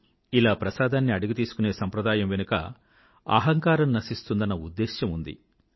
ఇలా ప్రసాదాన్ని అడిగి తీసుకునే సాంప్రదాయం వెనకాల అహంకారం నశిస్తుందన్న ఉద్దేశం ఉంది